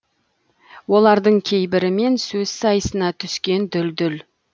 олардың кейбірімен сөз сайысына түскен дүлдүл